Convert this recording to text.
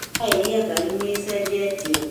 Taeri ya ngari nĩĩcenjetio